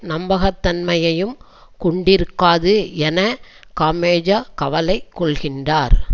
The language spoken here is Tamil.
நம்பகத்தன்மையையும் கொண்டிருக்காது என காமெஜோ கவலை கொள்கின்றார்